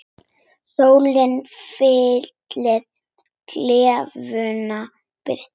Sólin fyllir klefann birtu.